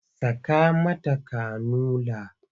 Saka mata kanula!